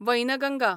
Wainganga